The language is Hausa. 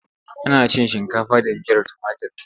Ana cin shinkafa da miyar tumatir.